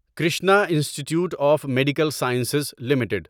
Krishna institute of medical sciences limited